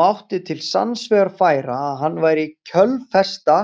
Mátti til sanns vegar færa að hann væri kjölfesta